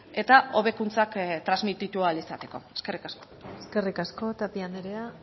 eta hobekuntzak transmititu ahal izateko eskerrik asko eskerrik asko tapia andrea